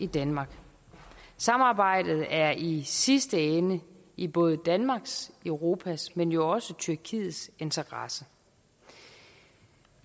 danmark samarbejdet er i sidste ende i både danmarks og europas men jo også tyrkiets interesse